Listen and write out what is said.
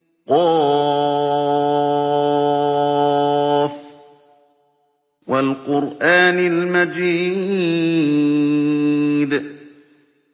ق ۚ وَالْقُرْآنِ الْمَجِيدِ